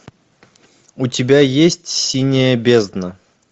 у тебя есть синяя бездна